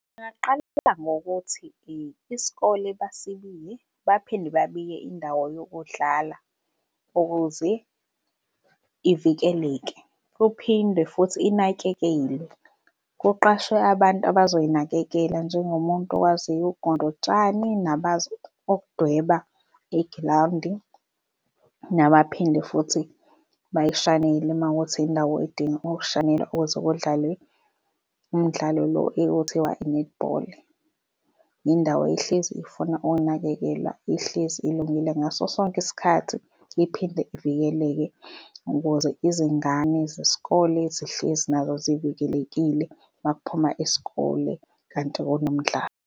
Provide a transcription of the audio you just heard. Bangaqala ngokuthi isikole basibiye, baphinde babiye indawo yokudlala ukuze ivikeleke, kuphinde futhi inakekelwe. Kuqashwe abantu abazoyinakekela njengomuntu okwakwaziyo ugunda utshani nabakwazi ukudweba igrawundi nabaphinde futhi bayishanele mawukuthi indawo edinga ukushanelwa ukuze kudlalwe umdlalo lo ekuthiwa i-netball. Indawo ehlezi ifuna ukunakekelwa ihlezi ilungile ngaso sonke isikhathi iphinde ivikeleke ukuze izingane zesikole zihlezi nazo sivikelekile makuphuma isikole kanti kunomdlalo.